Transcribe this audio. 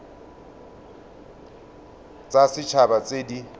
tsa set haba tse di